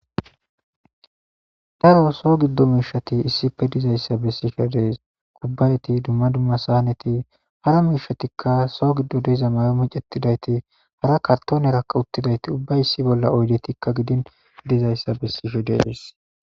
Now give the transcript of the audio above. Darro soo gido mishati issipe dizayissa beshe desi daroti duma duma saneti hara mishatika soo gido mayo micetidayit hara karitonera micetidayiti issi bolla oyidetika gidini dizayisa besishe desi.